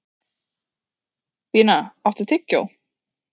Bína, áttu tyggjó?